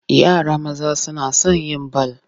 Yara maza suna son yin bal.